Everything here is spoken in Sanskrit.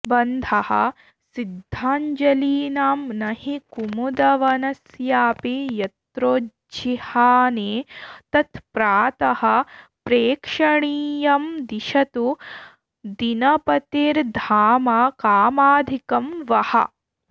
बन्धः सिद्धाञ्जलीनां न हि कुमुदवनस्यापि यत्रोज्जिहाने तत्प्रातः प्रेक्षणीयं दिशतु दिनपतेर्धाम कामाधिकं वः